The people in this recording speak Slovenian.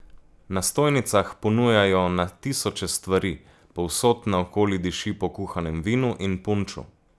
Na stojnicah ponujajo na tisoče stvari, povsod naokoli diši po kuhanem vinu in punču.